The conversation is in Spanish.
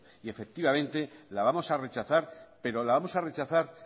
y efectivamente la vamos a rechazar pero la vamos a rechazar